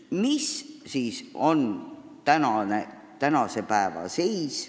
Milline on tänase päeva seis?